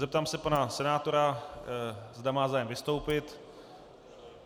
Zeptám se pana senátora, zda má zájem vystoupit.